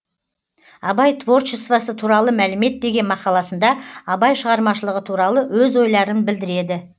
абай творчествосы туралы мәлімет деген мақаласында абай шығармашылығы туралы өз ойларын білдіреді